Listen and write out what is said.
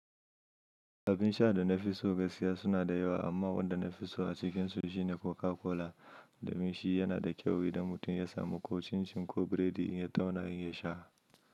Abin sha da na fi so gaskiya suna da yawa amma wanda na fi so a cikinsu shine Coca-Cola. Da min shi yana da kyau idan mutum ya samu ko cin cin ko biredi ya tauna ya sha.